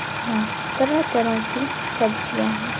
हां तरह तरह की सब्जियाँ हैं।